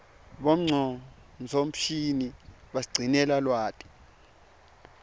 bongcondvomshini basigcinela lwati